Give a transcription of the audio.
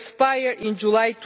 will expire in July